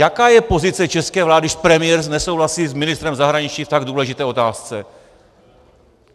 Jaká je pozice české vlády, když premiér nesouhlasí s ministrem zahraničí v tak důležité otázce?